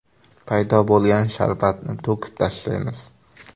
Paydo bo‘lgan sharbatni to‘kib tashlaymiz.